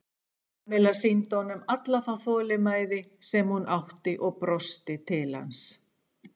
Kamilla sýndi honum alla þá þolinmæði sem hún átti og brosti til hans.